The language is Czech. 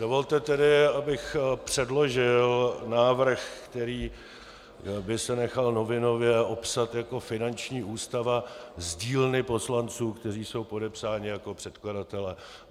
Dovolte tedy, abych předložil návrh, který by se nechal novinově opsat jako finanční ústava z dílny poslanců, kteří jsou podepsáni jako předkladatelé.